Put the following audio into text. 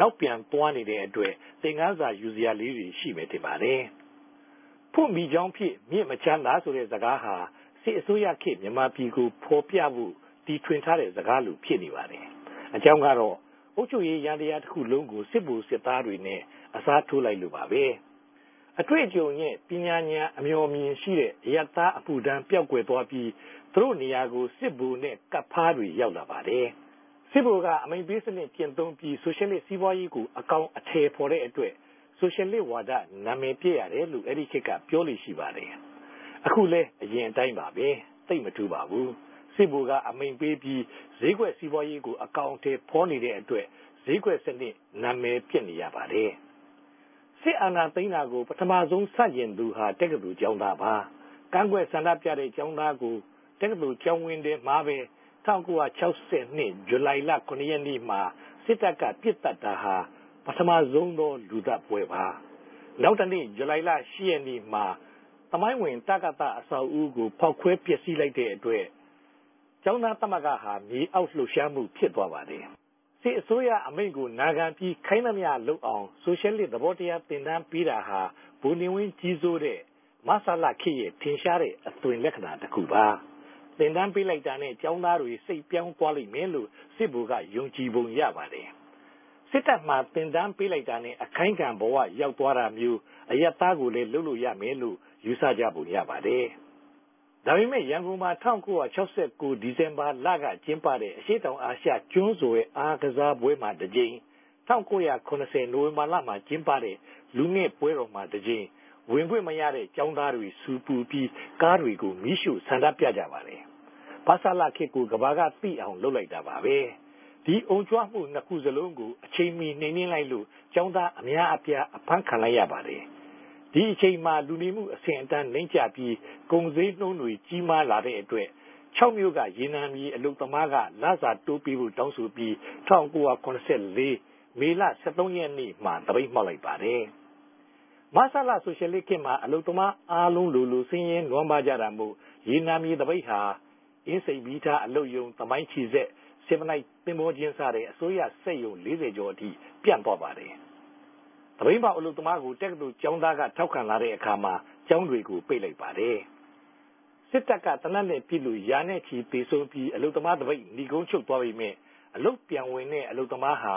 နောက်ူပန်သြားနေတဲ့အတြက် သင်ခန်းစာယူစရာလေးတြေ ရြိမယ်ထင်ပၝတယ်။ "ဖြတ်မိကေဵာင်းူဖစ် ူမစ်မခဵမ်းသာ" ဆိုတဲ့ စကားဟာ စစ်အစိုးရခေတ် ူမန်မာိံိုင်ငံကိုဖော်ူပဘိုႛ တီထြင်ထားတဲ့စကားလို ူဖစ်နေပၝတယ်။ အေုကာင်းကတော့ အုပ်ခဵြပ်ရေးယ္ဈိံရားတခုလုံးကို စစ်ဗိုလ်စစ်သားနဲႛ အစားထိုးလိုက်လိုႛပၝပဲ။ အတြေႚအုကံနြဲႛ ပညာဉာဏ် အေူမာ်အူမင်ရြိတဲ့ အရပ်သားအမထြမ်း ပေဵာက်ကြယ်္ဘပီး သူတိုႛနေရာကို စစ်ဗိုလ်နဲႛ ကပ်ဖားတြေ ရောက်လာပၝတယ်။ စစ်ဗိုလ်က အမိန်ႛပေးစနစ် ကဵင့်သုံး္ဘပီး ဆိုရြယ်လစ်စီးပြားရေးကို အကောင်အထည်ဖော်တဲ့အတြက် ဆိုရြယ်လစ်ဝၝဒ နာမည်ပဵက်ရတယ်လိုႛ အဲဒီခေတ်က ေူပာလေ့ရြိပၝတယ်။ အခုလည်း အရင်အတိုင်းပၝပဲ။ သိပ်မထူးပၝဘူး။ စစ်ဗိုလ်ကအမိန်ႛပေး္ဘပီး စေဵးကြက်စီးပြားရေးကို အကောင်အထည်ဖော်နေတဲ့အတြက် စေဵးကြက်စနစ် နာမည်ပဵက်နေ ရပၝတယ်။ စစ်အာဏာသိမ်းတာကို ပထမဆုံးဆန်ႛကဵင်သူဟာ တက္ကသိုလ်ကေဵာင်းသားပၝ။ ကန်ႛကြက်ဆ္ဋိံူပတဲ့ကေဵာင်းသားကို တက္ကသိုလ်ကေဵာင်းဝင်းထဲမြာပဲ ၁၉၆၂ ဂဵလြိုင်လ ၇ ရက်နေႛမြာ စစ်တပ်က ပစ်သတ်တာဟာ ပထမဆုံးသောလူသတ်ပဲပြၝ။ နောက်တနေႛ ဇူလိုင်လ ၈ ရက်နေႛမြာ သမိုင်းဝင် တကသအဆောက်အအုံကို ဖောက်ခဲဖြဵက်ဆီးလိုက်တဲ့အတြက် ကေဵာင်းသားသမဂ္ဂဟာ ေူမအောက်လြပ်ရြားမြ ူဖစ်သြားပၝတယ်။ စစ်အစိုးရအမိန်ႛကိုနာခ္ဘံပီး ခိုင်းသမ္တွလုပ်အောင် ဆိုရြယ်လစ် သဘောတရား သင်တန်းပေးတာဟာ ဗိုလ်နေဝင်းဋ္ဌကီးစိုးတဲ့ မဆလခေတ်ရဲ့ ထင်ရြားတဲ့အသြင်လက္ခဏာတခုပၝ။ သင်တန်းပေးလိုက်တာနဲႛ ကေဵာင်းသားတြေ စိတ်ေူပာင်းသြားလိမ့်မယ်လိုႛ စစ်ဗိုလ်ကယုံကည်ပုံရပၝတယ်။ စစ်တပ်မြာသင်တန်း ပေးလိုက်တာနဲႛ အခိုင်းခံဘဝရောက်သြားတာမဵြိး အရပ်သားကိုလည် းလုပ်လိုႛ ရမယ်လိုႛ ယူဆုကပုံရပၝတယ်။ ဒၝပေမဲ့ ရန်ကုန်မြာ ၁၉၆၉ ဒီဇင်ဘာလကကဵင်းပတဲ့ အရြေႚတောင်အာရြ ကဋ္ဋန်းဆြယ်အားကစားပြဲမြာတဋ္ဌကိမ်၊ ၁၉၇၀ ိံိုဝင်ဘာလကဵင်းပတဲ့ လူငယ့်ပဲြတော်မြာတဋ္ဌကိမ် ဝင်ခြင့်မရတဲ့ကေဵာင်းသားတေဆြူပူ္ဘပီး ကားတေကြို မီး႟ြိႛဆ္ဋိံူပုကပၝတယ်။ မဆလခေတ်ကို ကမ္တာကသိအောင် လုပ်လိုက်တာပၝပဲ။ ဒီအုံရကမြ ၂ ခုစလုံးကို အခဵိန်မီ ိံြိမ်နင်းလိုက်လိုႛ ကေဵာင်းသား အမဵားအူပား အဖမ်းခံလိုက်ရပၝတယ်။ ဒီအခဵိန်မြာ လူနေမအြဆင့်အတန်း နိမ့်ကဵ္ဘပီး ကုန်စေဵးိံြန်းတြေ ဋ္ဌကီးမားလာတဲ့အတြက် ခေဵာက်္ဘမိြႚက ရေနံအလုပ်သမားတေကြ လစာတိုးပေးဖိုႛတောင်းဆို္ဘပီး ၁၉၇၄ မေလ ၁၃ ရက်နေႛမြာ သပိတ်မြောက်ပၝတယ်။ မဆလ ဆိုရြယ်လစ်ခေတ်မြာ အလုပ်သမားအားလုံးလိုလို ဆင်းရဲိံြမ်းပၝးုကတာမိုႛ ရေနံေူမသပိတ်ဟာ အင်းစိန်မီးရထားအလုပ်႟ုံ၊ သမိုင်းခဵည်စက်၊ ဆင်မလိုက်သဘေဿာကဵင်း စတဲ့ အစိုးရစက်႟ုံ ၄၀ ကေဵာ်အထိ ူပန်ႛသြားပၝတယ်။ သပိတ်မြောက်အလုပ်သမားကို တက္ကသိုလ် ကေဵာင်းသားကထောက်ခံတဲ့အခၝမြာ ကေဵာင်းတေကြို ပိတ်ပစ်လိုက်ပၝတယ်။ စစ်တပ်က သေနတ်နဲႛပစ်လိုႛ ရာခဵီသေဆုံး ္ဘပီး အလုပ်သမားသပိတ် နိဂုံးခဵြပ်သြားပေမယ့်၊ အလုပ်ူပန်ဝင်တဲ့အလုပ်သမားတေဟြာ